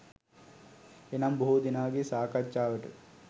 එනම්, බොහෝ දෙනාගේ සාකච්ඡාවට